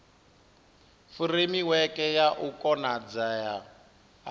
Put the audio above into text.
furemiweke ya u konadzea ha